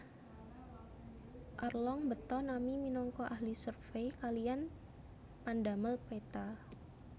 Arlong mbeta Nami minangka ahli survey kaliyan pandamel peta